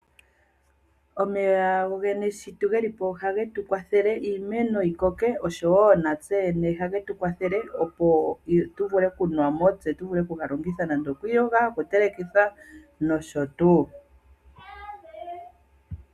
Omeya ohaga kwathele iimeno yikoke osho woo okunuwa kaantu nenge ya vule okuga longitha okuyoga, okutelekitha nosho tuu.